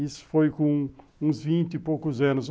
Isso foi com uns vinte e poucos anos.